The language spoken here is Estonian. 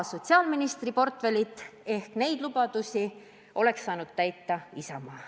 Sotsiaalministri portfell on olnud Isamaa käes, seega neid lubadusi oleks saanud täita Isamaa.